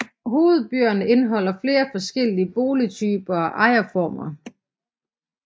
Hovedbyerne indeholder flere forskellige boligtyper og ejerformer